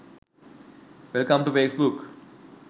welcome to facebook